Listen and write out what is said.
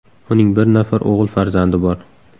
Uning bir nafar o‘g‘il farzandi bor.